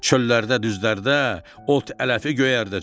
Çöllərdə, düzlərdə ot, ələfi göyərdəcəm.